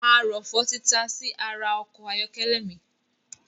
Arọ̀fọ̀ tí tasí ara ọkọ̀ ayọ́kẹ́lẹ̀ mi